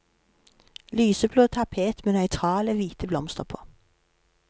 Lyseblå tapet med nøytrale, hvite blomster på.